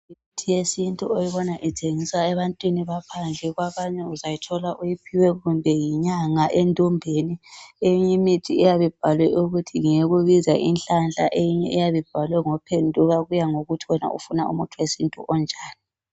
Imithi yesintu oyibona ithengiswa ebantwini baphandle kwabanye uzayithola uyiphiwe kumbe yinyanga endombeni eyinye imithi iyabe ibhalwe ukuthi ngeyokubiza inhlanhla eyinye iyabe ibhalwe ngophenduka kuya ngokuthi wena ufuna umuthi wesintu onjani.